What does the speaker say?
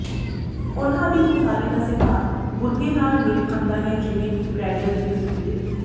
ਉਨ੍ਹਾਂ ਦੀ ਉਸਾਰੀ ਦਾ ਸਿਧਾਂਤ ਬੁਰਗੇ ਨਾਲ ਮੇਲ ਖਾਂਦਾ ਹੈ ਜਿਵੇਂ ਕਿ ਬ੍ਰੈਗੈਲ ਦੀ ਤਸਵੀਰ